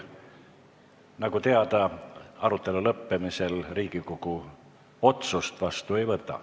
Nagu teada, arutelu lõppemisel Riigikogu otsust vastu ei võta.